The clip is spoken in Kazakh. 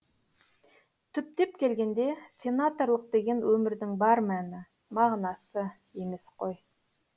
түптеп келгенде сенаторлық деген өмірдің бар мәні мағынасы емес қой